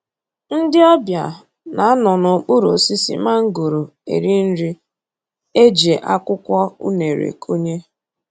Ndị ọbịa na-anọ n'okpuru osisi mangoro eri nri e ji akwụkwọ unere kunye